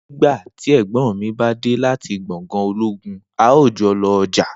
nigbati ègbón mí bádé láti gbòngàn ológun, a o jolo ọjà